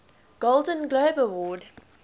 golden globe award